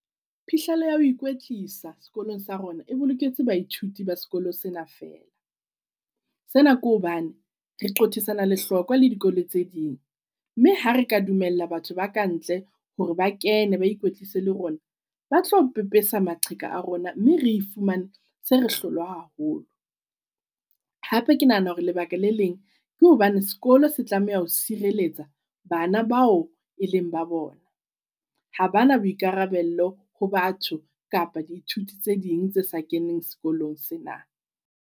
Phihlelo ya ho ikwetlisa sekolong sa rona e boloketse baithuti ba sekolo sena fela. Sena ke hobane re qothisana le hloka le dikolo tse ding. Mme hare ka dumella batho ba kantle hore ba kene ba ikwetlise le rona, batlo pepesa maqheka a rona mme re i fumane sere hlolwa haholo. Hape ke nahana hore lebaka le leng ke hobane sekolo se tlameha ho sireletsa bana bao e leng ba bona. Ha bana boikarabello ho batho kapa di ithuti tse ding tse sa keneng sekolong sena.